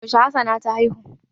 Yaushe hassana ta haihu?